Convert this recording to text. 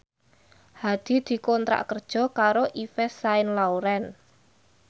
Hadi dikontrak kerja karo Yves Saint Laurent